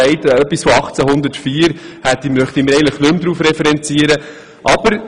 Wir möchten uns eigentlich nicht mehr auf ein Papier aus dem Jahr 1804 beziehen.